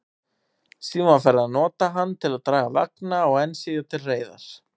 Síðar var farið að nota hann til að draga vagna, og enn síðar til reiðar.